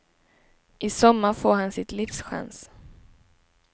I sommar får han sitt livs chans.